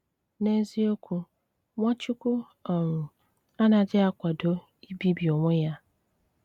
N'ézíokwú, Nwáchùkwù um áná́jí akwádó íbíbí onwè yá.